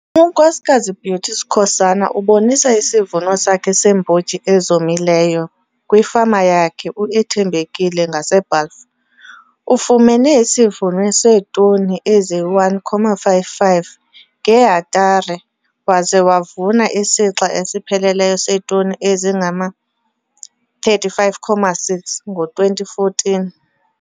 UNksk Beauty Skhosana ubonisa isivuno sakhe seembotyi ezomileyo kwifama yakhe iUthembekile ngaseBalfour. Ufumene isivuno seetoni ezi-1,55 ngehektare waze wavuna isixa esipheleleyo seetoni ezingama-35,6 ngo-2014.